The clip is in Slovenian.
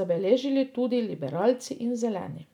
zabeležili tudi liberalci in zeleni.